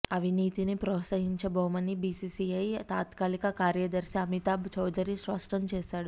అవినీతిని ప్రోత్సహించబోమని బిసిసిఐ తాత్కాలిక కార్యదర్శి అమితాబ్ చౌదరి స్పష్టం చే శాడు